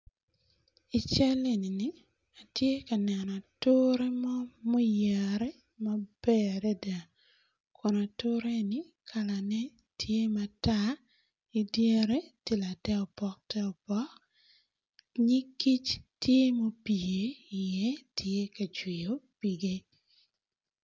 Ical eni ni atye ka neno ature mo ma oyare maber adada kun ature eni kala ne tye matar idyere tye later opok ter opok nyig kic tye ma opye i ye tye ka cwiyo pige.